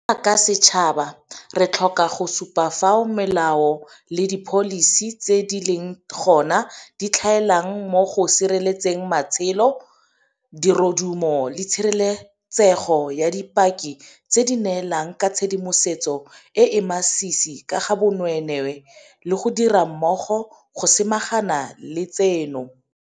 Jaaka setšhaba, re tlhoka go supa fao melao le dipholisi tse di leng gona di tlhaelang mo go sireletseng matshelo, dirodumo le tshireletsego ya dipaki tse di neelang ka tshedimosetso e e masisi ka ga bonweenwee le go dira mmogo go samagana le tseno.